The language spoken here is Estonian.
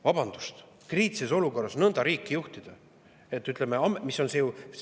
Vabandust, kriitilises olukorras nõnda riiki juhtida!